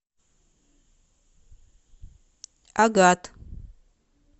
агат